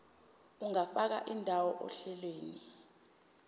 ungafaka indawo ohlelweni